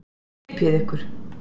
Hypjið ykkur.